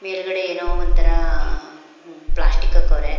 ಮೇಲ್ಗಡೆ ಏನೋ ಒಂದ್ ತರ ಪ್ಲಾಸ್ಟಿಕ್ ಹಾಕವ್ರೆ.